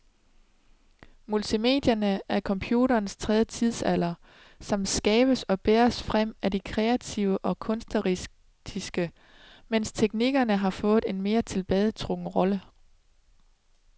Multimedierne er computerens tredje tidsalder, som skabes og bæres frem af de kreative og kunstneriske, mens teknikerne har fået en mere tilbagetrukket rolle.